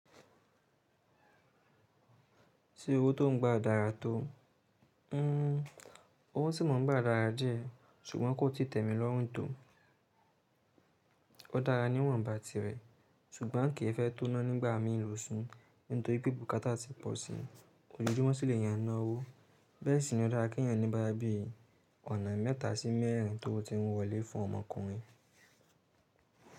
Ṣé owó tó ń gbà dára tó? Hmm owó tì mo ń gbà dára jẹ́, ṣùgbọ́n kó ti tẹ̀mí lọ́rùn tó. Ó dára níwọ̀nba tirẹ̀, ṣùgbọ́n kì í fẹ́ tóná nígbà mí ń lò ṣu, nítorí pé bùkátà ti pọ̀ sí i. Ojoojumọ sì lèèyàn n na owó. Bẹ́ẹ̀ sì ni ó dára kí èèyàn ní bóyá bí i ọ̀nà mẹ́ta sí mẹ́ẹ̀rín tówo ti ń wọlé fún ọmọkùnrin.